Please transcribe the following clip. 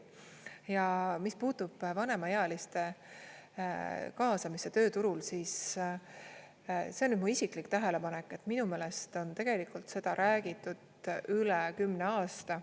Ja mis puutub vanemaealiste kaasamisse tööturul, siis see on mu isiklik tähelepanek, et minu meelest on tegelikult seda räägitud üle kümne aasta.